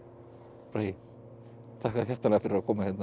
bragi þakka þér hjartanlega fyrir að koma hérna